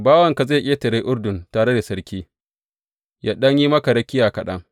Bawanka zai ƙetare Urdun tare da sarki, yă ɗan yi maka rakiya kaɗan.